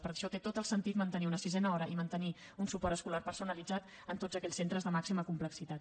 per això té tot el sentit mantenir una sisena hora i mantenir un suport escolar personalitzat en tots aquells centres de màxima complexitat